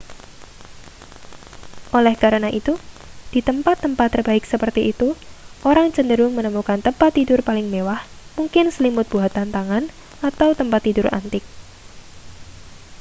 oleh karena itu di tempat-tempat terbaik seperti itu orang cenderung menemukan tempat tidur paling mewah mungkin selimut buatan tangan atau tempat tidur antik